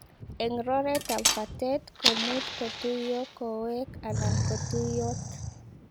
Eng roteet ap patet komuuch kotuiyoo kowek anan kotuiyoot.